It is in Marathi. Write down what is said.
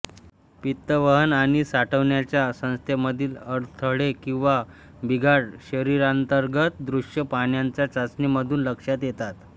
पित्त वहन आणि साठवण्याच्या संस्थेमधील अडथळे किंवा बिघाड शरीरांतर्गत दृश्य पाहण्याच्या चाचणीमधून लक्षात येतात